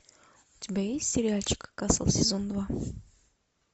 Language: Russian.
у тебя есть сериальчик касл сезон два